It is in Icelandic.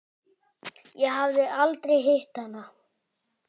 Ég hafði aldrei hitt hann.